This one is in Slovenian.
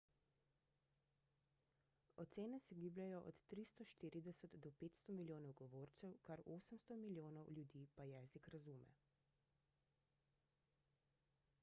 ocene se gibljejo od 340 do 500 milijonov govorcev kar 800 milijonov ljudi pa jezik razume